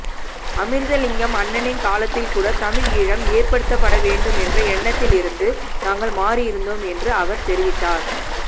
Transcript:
அமிர்தலிங்கம் அண்ணனின் காலத்தில் கூட தமிழீழம் ஏற்படுத்தப்பட வேண்டும் என்ற கருத்திலிருந்து நாங்கள் மாறியிருந்தோம் என்றும் அவர் தெரிவித்தார்